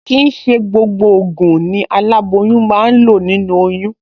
Kì í ṣe gbogbo ògùn ni aláboyún máa ń lò nínú oyún